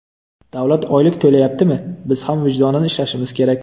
Davlat oylik to‘layaptimi, biz ham vijdonan ishlashimiz kerak.